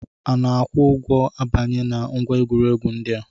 Ana-akwụ ụgwọ abanye na ngwa egwuregwu ndị a?